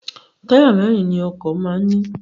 Táyà mẹ́rin ni ọkọ̀ máa ń ní.